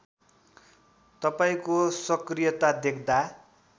तपाईँको सकृयता देख्दा